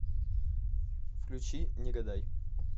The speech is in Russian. включи не гадай